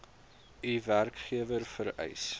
u werkgewer vereis